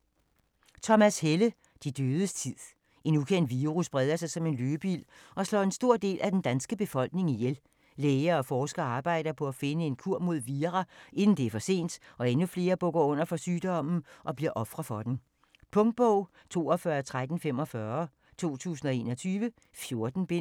Helle, Thomas: De dødes tid En ukendt virus breder sig som en løbeild og slår en stor del af den danske befolkning ihjel. Læger og forskere arbejder på at finde en kur mod vira inden det er for sent og endnu flere bukker under for sygdommen og bliver ofre for den. Punktbog 421345 2021. 14 bind.